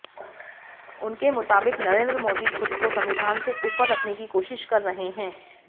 उनके मुताबिक नरेंद्र मोदी खुद को संविधान से ऊपर रखने की कोशिश कर रहे हैं